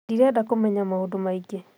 Ndirenda kũmenya maũndũmaingĩ